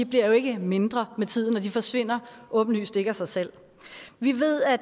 jo ikke mindre med tiden og de forsvinder åbenlyst ikke af sig selv vi ved at